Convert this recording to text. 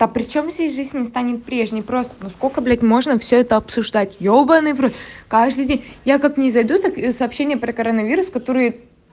а причём здесь жизнь не станет прежней просто ну сколько блять можно все это обсуждать ебанный в рот каждый день я как не зайду так сообщение про коронавирус которые